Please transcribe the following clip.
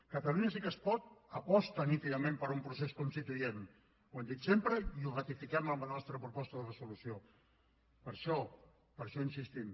catalunya sí que es pot aposta nítidament per un procés constituent ho hem dit sempre i ho ratifiquem en la nostra proposta de resolució per això hi insistim